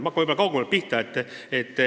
Ma hakkan kaugemalt pihta.